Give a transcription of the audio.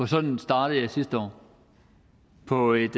sådan startede jeg sidste år på et